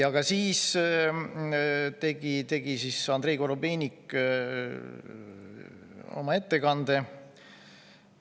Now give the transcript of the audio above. Aga siis tegi Andrei Korobeinik oma ettekande.